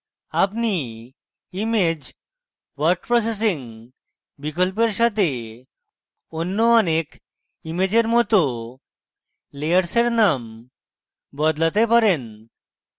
আপনি image word processing বিকল্পের সাথে অন্য অনেক ইমেজের মত layers নাম বদলাতে পারেন